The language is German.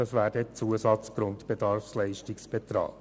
dies wäre der dann der Zusatzgrundbedarfsleistungsbetrag.